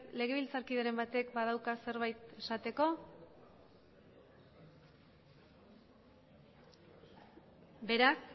legebiltzar kideren batek badauka zerbait esateko beraz